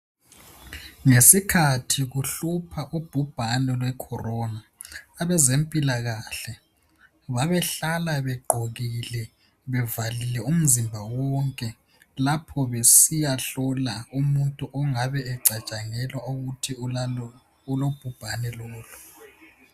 Ngesikhathi kuhlupha ubhubhane lwe Corona, abezempilakahle babehlala begqokile bevalile umzimba wonke lapho besiya hlola umuntu ongabe ecatshangelwa ukuthi ulobhubhane lolo.